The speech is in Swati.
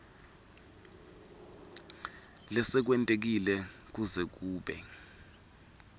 lesekwentekile kuze kube